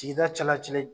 Sigida cɛla ci kɛ